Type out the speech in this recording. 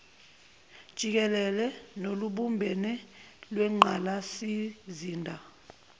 jikele nolubumbene lwengqalasizinda